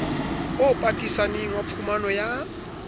o patisaneng wa phumano ya